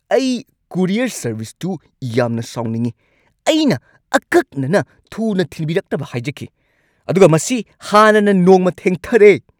ꯑꯩ ꯀꯨꯔꯤꯌꯔ ꯁꯔꯕꯤꯁꯇꯨ ꯌꯥꯝꯅ ꯁꯥꯎꯅꯤꯡꯉꯤ꯫ ꯑꯩꯅ ꯑꯀꯛꯅꯅ ꯊꯨꯅ ꯊꯤꯟꯕꯤꯔꯛꯅꯕ ꯍꯥꯏꯖꯈꯤ, ꯑꯗꯨꯒ ꯃꯁꯤ ꯍꯥꯟꯅꯅ ꯅꯣꯡꯃ ꯊꯦꯡꯊꯔꯦ!